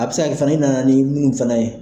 A bɛ se ka kɛ fana i nana ni munnu fana ye.